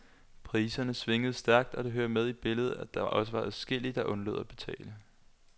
Priserne svingede stærkt, og det hører med i billedet, at der også var adskillige, der undlod at betale.